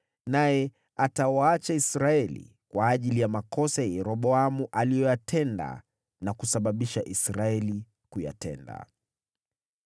Naye atawaacha Israeli kwa ajili ya makosa ya Yeroboamu aliyoyatenda na kusababisha Israeli kuyatenda.”